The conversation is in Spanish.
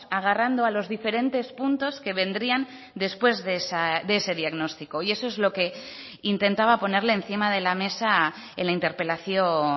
agarrando a los diferentes puntos que vendrían después de ese diagnóstico y eso es lo que intentaba ponerle encima de la mesa en la interpelación